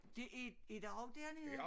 Det er er der også dernede?